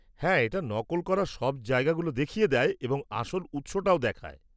হ্যাঁ, এটা নকল করা সব জায়গাগুলো দেখিয়ে দেয় এবং আসল উৎস-টাও দেখায়।